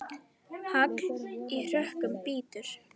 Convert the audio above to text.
Hagl í hörkum bítur.